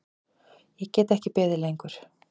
Ég get ekki beðið lengur.